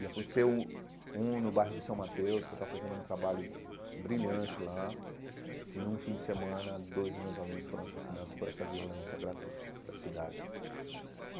E aconteceu um no bairro de São Mateus, que eu estava fazendo um trabalho brilhante lá, e num fim de semana, dois dos meus alunos foram assassinados por essa violência gratuita da cidade.